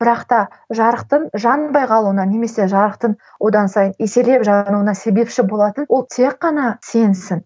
бірақта жарықтың жанбай қалуына немесе жарықтың одан сайын еселеп жануына себепші болатын ол тек қана сенсің